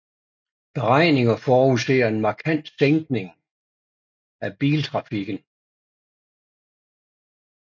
Beregninger forudser en markant sækning af biltrafikken